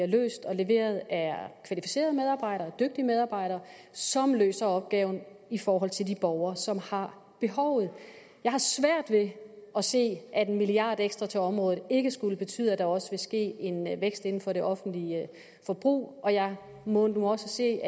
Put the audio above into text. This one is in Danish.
løst og leveret af kvalificerede og dygtige medarbejdere som løser opgaven i forhold til de borgere som har behovet jeg har svært ved at se at en milliard kroner ekstra til området ikke skulle betyde at der også vil ske en vækst inden for det offentlige forbrug og jeg må nu også sige